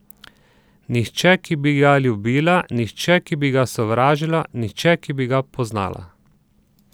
Nihče, ki bi ga ljubila, nihče, ki bi ga sovražila, nihče, ki bi ga poznala.